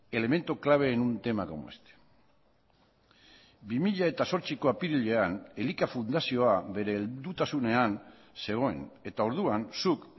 elemento clave en un tema como este bi mila zortziko apirilean elika fundazioa bere heldutasunean zegoen eta orduan zuk